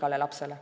Aitäh!